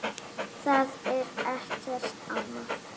Það er ekkert annað.